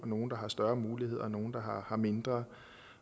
nogle der har større muligheder og nogle der har mindre